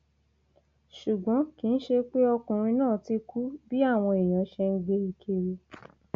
ṣùgbọn kì í ṣe pé ọkùnrin náà ti kú bí àwọn èèyàn ṣe ń gbé e kiri